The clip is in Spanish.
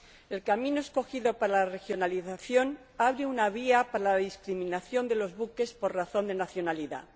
El camino escogido para la regionalización abre una vía a la discriminación de los buques por razón de nacionalidad.